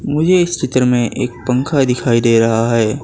मुझे इस चित्र में एक पंखा दिखाई दे रहा है।